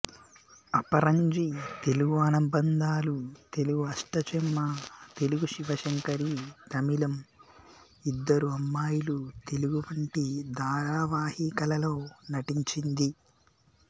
అపరంజి తెలుగు అనుబంధాలు తెలుగు అష్టాచెమ్మ తెలుగు శివశంకరి తమిళం ఇద్దరు అమ్మాయిలు తెలుగు వంటి ధారావాహికలలో నటించింది